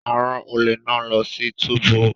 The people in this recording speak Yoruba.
A ran ole náà lọ sí túbú